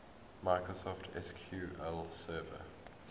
microsoft sql server